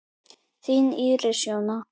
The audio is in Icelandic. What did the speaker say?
Þín Íris Jóna.